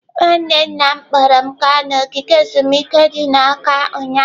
Nwanne nna m kpọọrọ m gaa ogige ezumike dị n'Awka ụnyahụ.